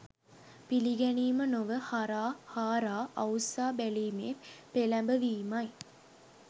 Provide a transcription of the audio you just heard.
පිළිගැනීම නොව හාරා අවුස්සා බැලීමේ පෙළැඹවීමයි.